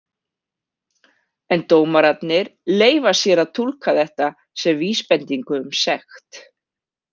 En dómararnir leyfa sér að túlka þetta sem vísbendingu um sekt.